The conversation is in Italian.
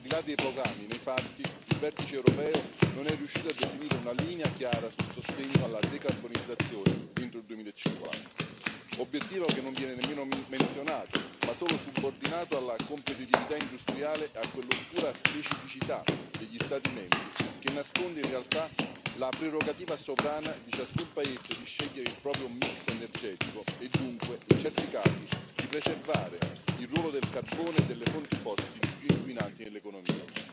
Ma, al di là dei programmi, nei fatti il vertice europeo non è riuscito a definire una linea chiara sul sostegno alla decarbonizzazione entro il 2050, obiettivo che non viene nemmeno menzionato ma solo subordinato alla competitività industriale e a quell'oscura specificità degli Stati membri che nasconde, in realtà, la prerogativa sovrana di ciascun Paese di scegliere il proprio mix energetico e dunque, in certi casi, di preservare il ruolo del carbone e delle fonti fossili più inquinanti nell'economia.